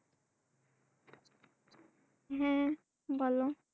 হ্যাঁ বলো